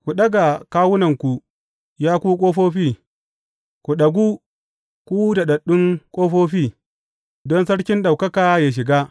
Ku ɗaga kawunanku, ya ku ƙofofi; ku ɗagu, ku daɗaɗɗun ƙofofi, don Sarkin ɗaukaka yă shiga.